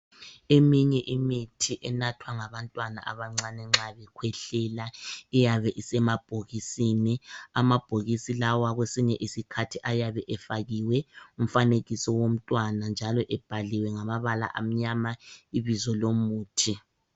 Eminye imithi enathwa ngabantwana abancane nxa bekhwehlela iyabe isemabhokisini, amabhokisi lawa kwesinye isikhathi ayabe efakiwe umfanekiso womntwana njalo ebhaliwe ngamabala amnyama ibizo lomuthi.